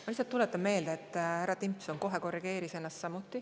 Ma lihtsalt tuletan meelde, et härra Timpson kohe korrigeeris ennast.